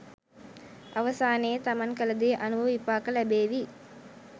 අවසානයේ තමන් කලදේ අනුව විපාක ලැබේවි.